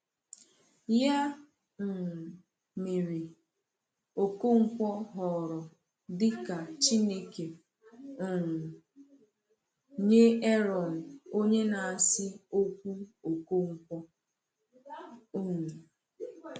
Ya um mere, Okonkwo ghọrọ dị ka Chineke um nye Aaron, onye na-asị okwu Okonkwo. um